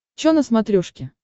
чо на смотрешке